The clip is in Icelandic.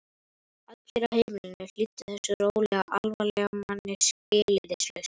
Allir á heimilinu hlýddu þessum rólega, alvarlega manni skilyrðislaust.